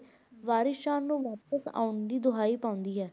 ਵਾਰਿਸ ਸ਼ਾਹ ਨੂੰ ਵਾਪਸ ਆਉਣ ਦੀ ਦੁਹਾਈ ਪਾਉਂਦੀ ਹੈ।